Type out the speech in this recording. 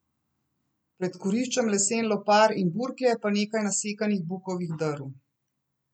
Pred kuriščem lesen lopar in burklje pa nekaj nasekanih bukovih drv.